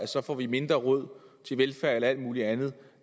så får vi mindre råd til velfærd eller alt muligt andet